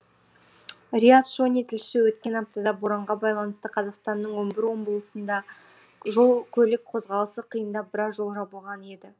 риат шони тілші өткен аптада боранға байланысты қазақстанның он бір облысында жол көлік қозғалысы қиындап біраз жол жабылған еді